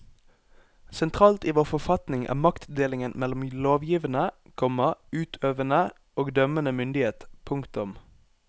Sentralt i vår forfatning er maktdelingen mellom lovgivende, komma utøvende og dømmende myndighet. punktum